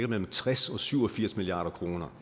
mellem tres og syv og firs milliard kroner